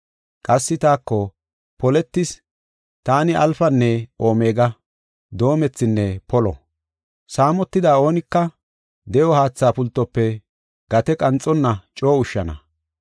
Qassi taako, “Poletis! Taani Alfanne Omega; Doomethinne Polo. Saamotida oonaka de7o haatha pultofe gate qanxonna coo ushshana.